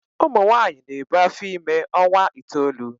Ụmụ nwanyị na-ebu afọ ime ọnwa itoolu.